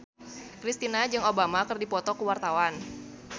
Kristina jeung Obama keur dipoto ku wartawan